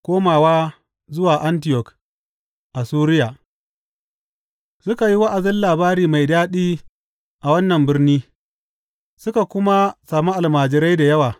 Komawa zuwa Antiyok a Suriya Suka yi wa’azin Labari mai daɗi a wannan birni, suka kuma sami almajirai da yawa.